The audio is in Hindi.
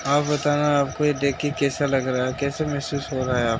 आप बताना आपको ये देख के कैसा लग रहा है? कैसा महसूस हो रहा है? आप --